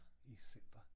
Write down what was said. I center